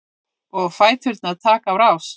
Og fæturnir taka á rás.